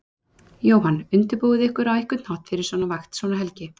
Jóhann: Undirbúið þið ykkur á einhvern hátt fyrir svona vakt, svona helgi?